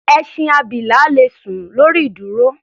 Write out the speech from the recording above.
Ẹṣin abilà le sùn lọ lórí ìdúró.